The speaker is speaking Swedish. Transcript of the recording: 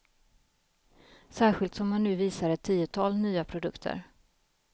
Särskilt som han nu visar ett tiotal nya produkter.